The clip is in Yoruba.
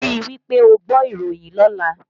Rí wí pé ó gbọ́ ìròyìn lọ́lá!